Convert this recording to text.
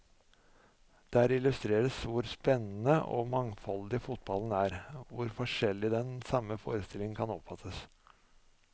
Der illustreres hvor spennende og mangfoldig fotballen er, hvor forskjellig den samme forestillingen kan oppfattes.